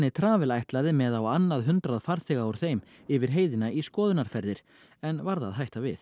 Travel ætlaði með á annað hundrað farþega úr þeim yfir heiðina í skoðunarferðir en varð að hætta við